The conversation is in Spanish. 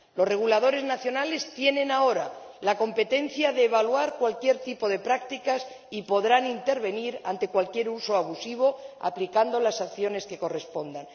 Los reguladores nacionales tienen ahora la competencia de evaluar cualquier tipo de práctica y podrán intervenir ante cualquier uso abusivo aplicando las sanciones que correspondan.